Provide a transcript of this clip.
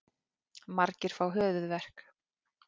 Margir fá höfuðverk.